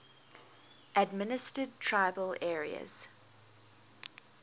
administered tribal areas